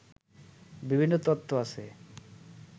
বিভিন্ন তত্ত্ব আছে